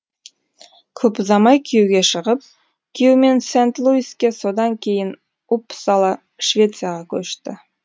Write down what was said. көп ұзамай күйеуге шығып күйеуімен сент луиске содан кейін уппсала швецияға көшті